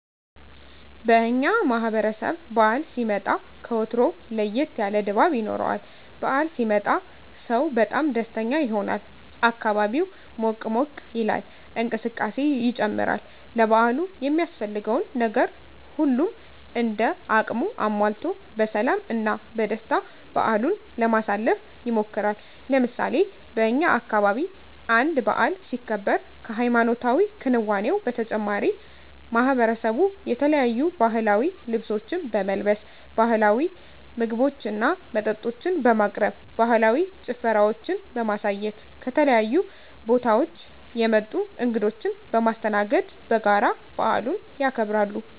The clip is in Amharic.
በእኛ ማህበረሰብ በዓል ሲመጣ ከወትሮው ለየት ያለ ድባብ ይኖረዋል። በዓል ሲመጣ ሰው በጣም ደስተኛ ይሆናል፣ አካባቢው ሞቅ ሞቅ ይላል፣ እንቅስቃሴ ይጨምራል፣ ለበዓሉ የሚያስፈልገውን ነገር ሁሉም እንደ አቅሙ አሟልቶ በሰላም እና በደስታ በዓሉን ለማሳለፍ ይሞክራል። ለምሳሌ በእኛ አካባቢ አንድ በዓል ሲከበር ከሀይማኖታዊ ክንዋኔው በተጨማሪ ማሕበረሰቡ የተለያዩ ባህላዊ ልብሶችን በመልበስ፣ ባህላዊ ምግቦችና መጠጦችን በማቅረብ፣ ባህላዊ ጭፈራዎችን በማሳየት፣ ከተለያዩ ቦታወች የመጡ እንግዶችን በማስተናገድ በጋራ በዓሉን ያከብራሉ።